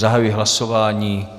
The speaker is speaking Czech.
Zahajuji hlasování.